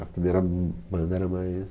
A primeira banda era mais...